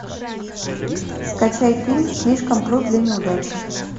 скачай фильм слишком крут для неудачи